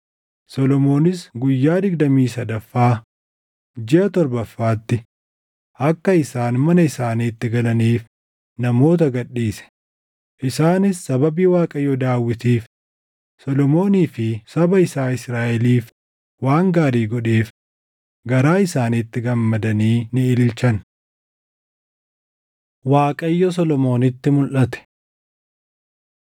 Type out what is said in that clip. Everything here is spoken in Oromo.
Solomoonis guyyaa digdamii sadaffaa jiʼa torbaffaatti akka isaan mana isaaniitti galaniif namoota gad dhiise; isaanis sababii Waaqayyo Daawitiif, Solomoonii fi saba isaa Israaʼeliif waan gaarii godheef garaa isaaniitti gammadanii ni ililchan. Waaqayyo Solomoonitti Mulʼate 7:11‑22 kwf – 1Mt 9:1‑9